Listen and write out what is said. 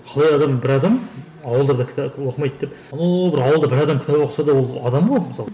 қалай адам бір адам ауылдарда кітап оқымайды деп анау бір ауылда бір адам кітап оқыса да адам ғой мысалы